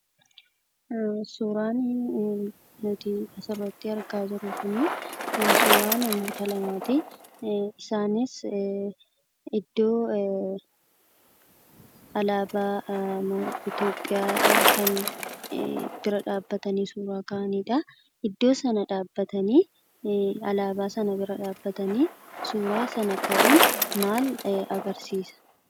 Suuraan nuti asirratti argaa jirru kun suuraa namoota lamaati. Isaanis iddoo alaabaa Itoophiyaa bira dhaabbatanii suuraa kan ka'aniidha. Alaabaa sana bira dhaabbatanii suuraa sana ka'uun maal agarsiisa?